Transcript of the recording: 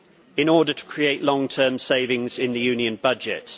in order to create long term savings in the Union budget'.